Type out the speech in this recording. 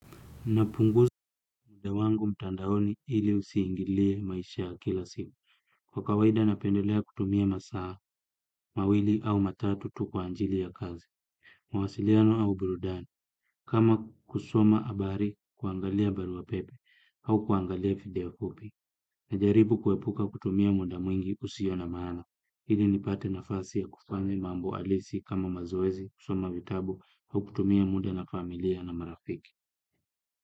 Napunguza muda wangu mtandaoni ili usiingilie maisha kila siku. Kwa kawaida napendolea kutumia masaa, mawili au matatu tu kwa ajili ya kazi. Mawasiliano au burudani. Kama kusoma abari, kuangalia barua pepe au kuangalia video fupi. Najaribu kuepuka kutumia muda mwingi usio na maano. Ili nipate nafasi ya kufani mambo alisi kama mazoezi, kusoma vitabu au kutumia muda na familia na marafiki.